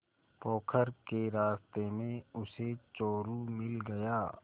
पोखर के रास्ते में उसे चोरु मिल गया